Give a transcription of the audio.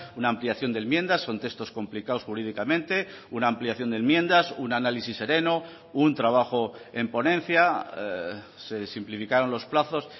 una ampliación de enmiendas son textos complicados jurídicamente una ampliación de enmiendas un análisis sereno un trabajo en ponencia se simplificaron los plazos